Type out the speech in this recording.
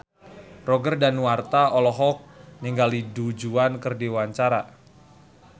Roger Danuarta olohok ningali Du Juan keur diwawancara